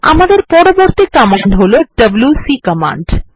আমদের পরবর্তী কমান্ড হল ডব্লিউসি কমান্ড